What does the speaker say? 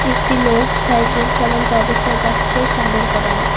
একটি লোক সাইকেল চলন্ত অবস্থায় যাচ্ছে চাদর পরানো।